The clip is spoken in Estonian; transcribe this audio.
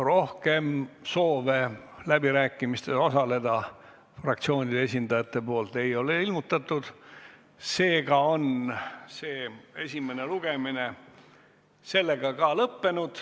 Rohkem soove läbirääkimistel osaleda fraktsioonide esindajad ei ole ilmutanud.